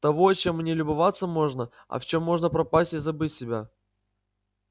того чем не любоваться можно а в чем можно пропасть и забыть себя